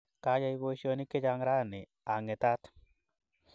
Kayai poisyonik chechang' rauni, aang'etat.